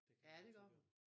Ja det gør hun